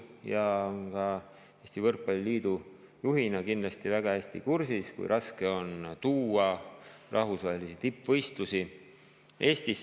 Ta on Eesti Võrkpalli Liidu juhina kindlasti väga hästi kursis, kui raske on tuua rahvusvahelisi tippvõistlusi Eestisse.